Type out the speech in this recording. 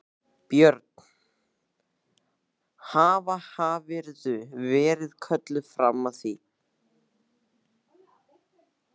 Björn: Haf, hafðirðu verið kölluð fram að því?